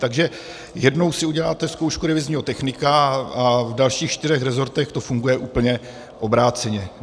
Takže jednou si uděláte zkoušku revizního technika, a v dalších čtyřech resortech to funguje úplně obráceně.